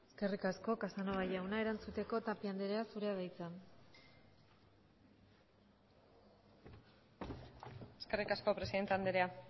eskerrik asko casanova jauna erantzuteko tapia andrea zurea da hitza eskerrik asko presidente andrea